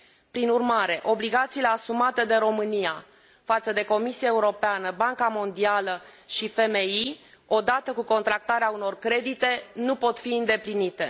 Prin urmare, obligațiile asumate de România față de Comisia Europeană, Banca Mondială și FMI, odată cu contractarea unor credite, nu pot fi îndeplinite.